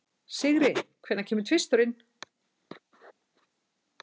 Sigri, hvenær kemur tvisturinn?